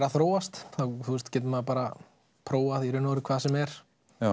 að þróast þá getur maður bara prófað í raun og veru hvað sem er